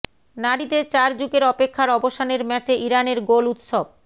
নারীদের চার যুগের অপেক্ষার অবসানের ম্যাচে ইরানের গোল উৎসব